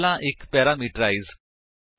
ਉਹ ਪੈਰਾਮੀਟਰਸ ਦੇ ਪ੍ਰਕਾਰ ਜਾਂ ਨੰਬਰ ਵਿੱਚ ਵਖਰਾ ਹੋਵੇ